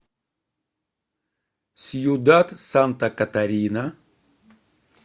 сьюдад санта катарина